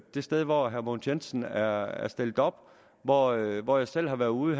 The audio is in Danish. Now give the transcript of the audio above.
det sted hvor herre mogens jensen er er stillet op hvor jeg hvor jeg selv har været ude